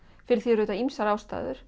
fyrir því eru ýmsar ástæður